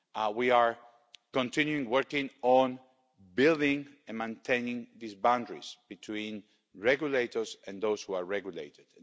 We are continuing working on building and maintaining these boundaries between regulators and those who are regulated.